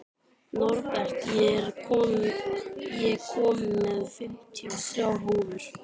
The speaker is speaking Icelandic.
Norbert, ég kom með fimmtíu og þrjár húfur!